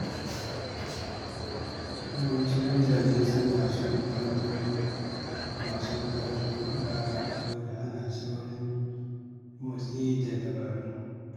Yawancin mutane suna son kallon wasan ƙwallon raga saboda ana saurin motsi da dabaru.